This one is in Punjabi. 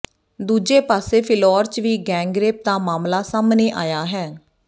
ਦੂਜੇ ਪਾਸੇ ਫਿਲੌਰ ਚ ਵੀ ਗੈਂਗ ਰੇਪ ਦਾ ਮਾਮਲਾ ਸਾਹਮਣੇ ਆਇਆ ਹੈ